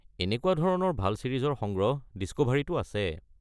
এনেকুৱা ধৰণৰ ভাল ছিৰিজৰ সংগ্ৰহ ডিস্কোভাৰীটো আছে।